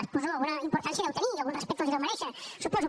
suposo que alguna importància deu tenir i algun respecte els deu merèixer suposo